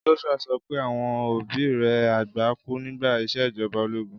Joshua sopẹ́ àwon òbí rẹ àgbà ku nígbà ìsèjoba ológun.